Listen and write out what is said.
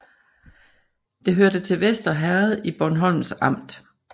Det hørte til Vester Herred i Bornholms Amt